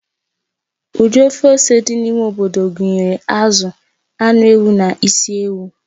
Ụdị of ose dị n'ime obodo gụnyere azụ, anụ ewu na isi ewu.